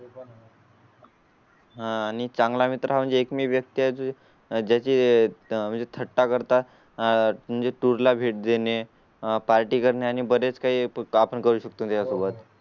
हां आणि चांगला मित्र म्हणजे एक मी व्यस्त. त्याचे ज्या चे म्हणजे थट्टा करता आह म्हणजे तुला भेट देणे, पार्टी करणे आणि बरेच काही आपण करू शकतो त्या सोबत.